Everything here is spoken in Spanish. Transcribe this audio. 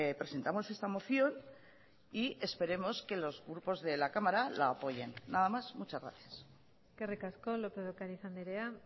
presentamos esta moción y esperemos que los grupos de la cámara la apoyen nada más muchas gracias eskerrik asko lópez de ocariz andrea